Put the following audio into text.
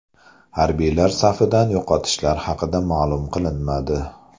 Harbiylar safidan yo‘qotishlar haqida ma’lum qilinmadi.